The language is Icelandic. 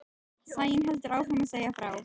Sæunn heldur áfram að segja frá.